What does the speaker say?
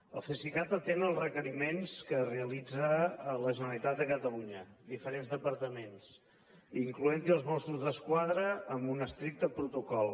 el cesicat atén els requeriments que realitza la generalitat de catalunya diferents departaments incloenthi els mossos d’esquadra amb un estricte protocol